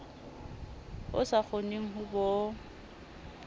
o sa kgoneng ho bo